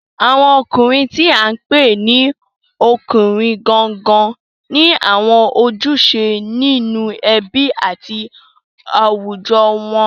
Àwọn ọkùnrin tí à ń pè ní ọkùnrin gangan ni àwọn ojúṣe nínú ẹbí àti àwùjọ wọn